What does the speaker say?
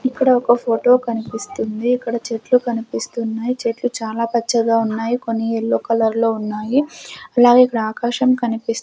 ఇక్కడ ఒక ఫోటో కన్పిస్తుంది ఇక్కడ చెట్లు కనిపిస్తున్నాయ్ చెట్లు చాలా పచ్చగా ఉన్నాయి కొన్ని యెల్లో కలర్లో ఉన్నాయి అలాగే ఇక్కడ ఆకాశం కనిపిస్--